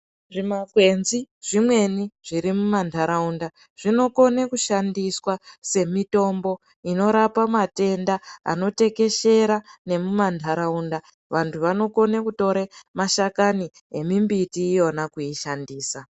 Zvimakwenzi zvimweni zvirimumantaraunda zvinokone kushandiswa semitombo inorapa matenda anotekeshera nemumantaraunda. Vantu vanokone kutore mashakani emimbiti iyona kuishandisa.